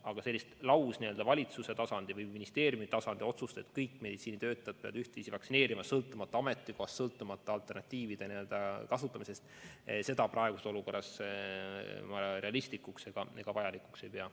Aga sellist valitsuse tasandi või ministeeriumi tasandi otsust, et kõik meditsiinitöötajad peavad laskma end vaktsineerida, sõltumata ametikohast, sõltumata võimalusest alternatiive kasutada – seda ma praeguses olukorras realistlikuks ega vajalikuks ei pea.